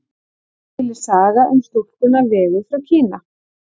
Til er saga um stúlkuna Vegu frá Kína.